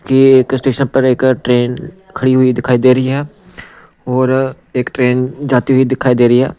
कि एक स्टेशन पर एक ट्रैन खड़ी हुई दिखाई दे रही है और एक ट्रैन जाती हुई दिखाई दे रही है।